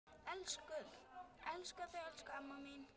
Elska þig elsku amma mín.